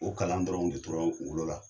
O kalan dɔrɔn de tora n kunkolo la.